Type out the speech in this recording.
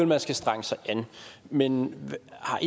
man skal strenge sig an men har